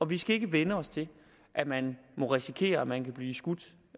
vi skal ikke vænne os til at man må risikere at man kan blive skudt